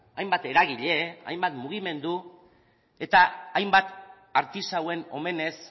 hainbat eragile hainbat mugimendu eta hainbat artisauen omenez